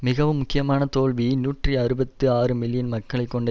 மிகவும் முக்கியமான தோல்வி நூற்றி அறுபத்தி ஆறு மில்லியன் மக்களை கொண்ட